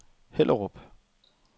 Hellerup